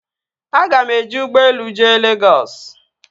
Aga m eji ụgbọelu jee Legọs